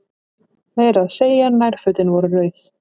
Meira að segja nærfötin voru rauð.